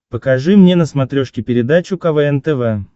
покажи мне на смотрешке передачу квн тв